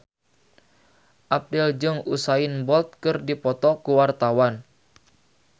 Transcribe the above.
Abdel jeung Usain Bolt keur dipoto ku wartawan